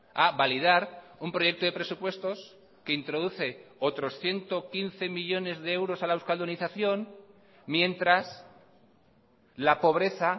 a validar un proyecto de presupuestos que introduce otros ciento quince millónes de euros a la euskaldunización mientras la pobreza